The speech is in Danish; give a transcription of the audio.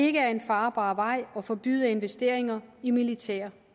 ikke er en farbar vej at forbyde investeringer i militære